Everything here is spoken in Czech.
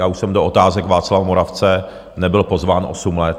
Já už jsem do Otázek Václava Moravce nebyl pozván osm let.